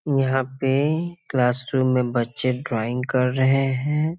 यहाँ पे क्लासरूम में बच्चे ड्राइंग कर रहे है।